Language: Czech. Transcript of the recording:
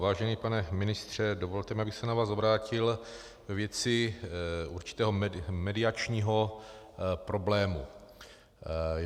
Vážený pane ministře, dovolte mi, abych se na vás obrátil ve věci určitého mediačního problému.